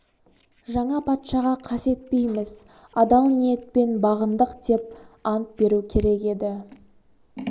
жаңа патшаға қас етпейміз адал ниетпен бағындық деп ант беру керек еді